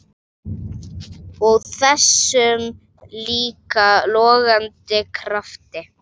Og þessum líka logandi krafti.